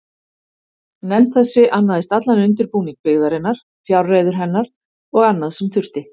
Nefnd þessi annaðist allan undirbúning byggingarinnar, fjárreiður hennar og annað, sem þurfti.